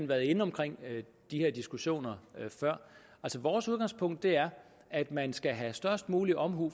været inde omkring de her diskussioner før vores udgangspunkt er at man skal have størst mulig omhu